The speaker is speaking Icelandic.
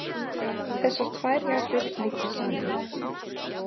Þessar tvær jarðir liggja saman.